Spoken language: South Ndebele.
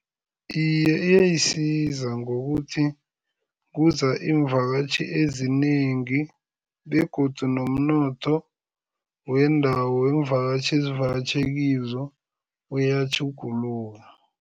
Iye, iyayisiza ngokuthi kuza iimvakatjhi ezinengi begodu nomnotho wendawo iimvakatjhi ezivakatjhe kizo uyatjhuguluka.